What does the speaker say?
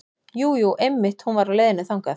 Jú, jú einmitt hún var á leiðinni þangað.